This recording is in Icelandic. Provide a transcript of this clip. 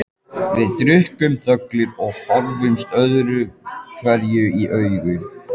Við drukkum þöglir og horfðumst öðruhverju í augu.